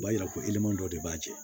O b'a yira ko dɔ de b'a cɛ